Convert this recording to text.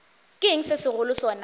ke eng se segolo sona